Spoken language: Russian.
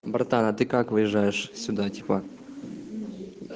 братан а ты как выезжаешь сюда типа